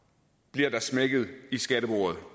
bliver der smækket i skattebordet